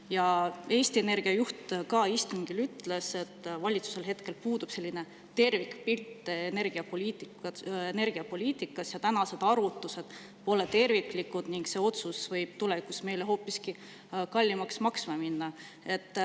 Ja Eesti Energia juht ka istungil ütles, et valitsusel hetkel puudub tervikpilt energiapoliitikast, senised arvutused pole terviklikud ning see otsus võib tulevikus meile hoopiski kallimaks maksma minna.